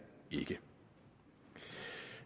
ikke